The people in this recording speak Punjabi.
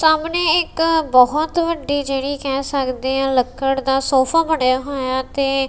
ਸਾਹਮਣੇ ਇੱਕ ਬਹੁਤ ਵੱਡੀ ਜਿਹੜੀ ਕਹਿ ਸਕਦੇ ਆ ਲੱਕੜ ਦਾ ਸੋਫਾ ਬਣਿਆ ਹੋਇਆ ਤੇ--